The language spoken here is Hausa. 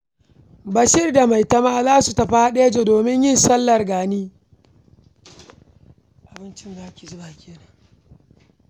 Bashir da Maitama za su tafi haɗeja domin yin sallar gani.